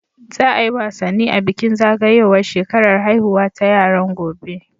Za a yi wasanni a bikin zagayowar shekarar haihuwa ta yaran, gobe.